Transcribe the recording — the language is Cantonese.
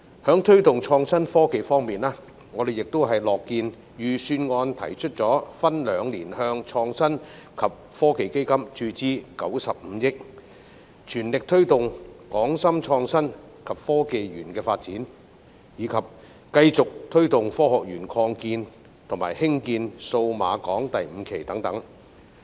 在推動創新科技方面，我們亦樂見預算案提出分兩年向創新及科技基金注資95億元，全力推動港深創新及科技園的發展，以及繼續推動香港科學園擴建及興建數碼港第五期等。